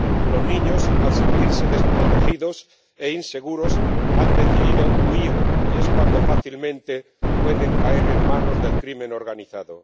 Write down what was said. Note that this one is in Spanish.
Los niños, al sentirse desprotegidos e inseguros, deciden huir, y es entonces cuando fácilmente pueden caer en manos del crimen organizado.